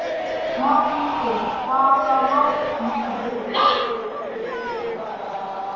Hjálmrún, hvaða mánaðardagur er í dag?